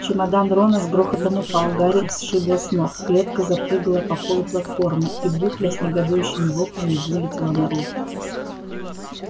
чемодан рона с грохотом упал гарри сшибло с ног клетка запрыгала по полу платформы и букля с негодующими воплями вылетела наружу